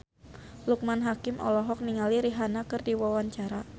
Loekman Hakim olohok ningali Rihanna keur diwawancara